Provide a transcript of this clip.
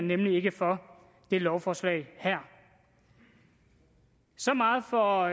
nemlig ikke for det lovforslag her så meget for